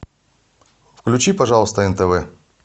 включи пожалуйста нтв